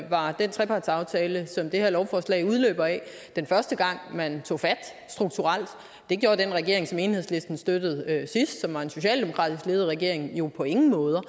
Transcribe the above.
var den trepartsaftale som det her lovforslag er en udløber af den første gang man tog fat strukturelt det gjorde den regering som enhedslisten støttede sidst som var en socialdemokratisk ledet regering jo på ingen måder